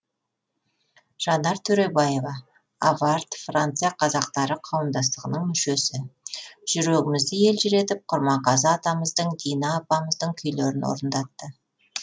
жанар төребаева авард франция қазақтары қауымдастығының мүшесі жүрегімізді елжіретіп құрманғазы атамыздың дина апамыздың күйлерін орындатты